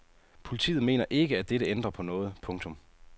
Politiet mener ikke at dette ændrer på noget. punktum